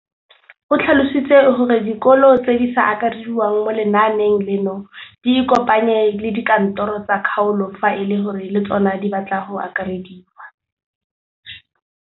O tlhalositse gore dikolo tse di sa akarediwang mo lenaaneng leno di ikopanye le dikantoro tsa kgaolo fa e le gore le tsona di batla go akarediwa.